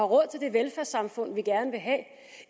råd til det velfærdssamfund vi gerne vil have